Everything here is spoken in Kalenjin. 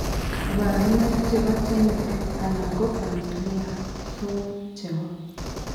Kabarunaik chebo genetic anan ko familial form chebo